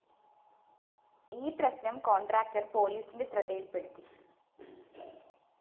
ഈ പ്രശ്‌നം കോൺട്രാക്ടർ പോലീസിന്റെ ശ്രദ്ധയില്‍പ്പെടുത്തി